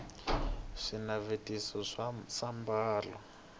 swinavetiso swa sambalo